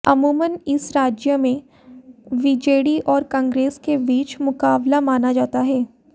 अमूमन इस राज्य में बीजेडी और कांग्रेस के बीच मुकाबला माना जाता है